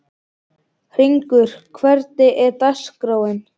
Hringur, hvernig er dagskráin?